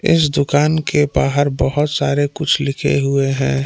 इस दुकान के बाहर बहुत सारे कुछ लिखे हुए है।